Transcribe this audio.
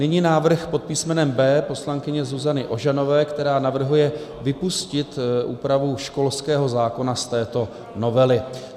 Nyní návrh pod písmenem B poslankyně Zuzany Ožanové, která navrhuje vypustit úpravu školského zákona z této novely.